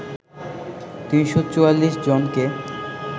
৩৪৪ জনকে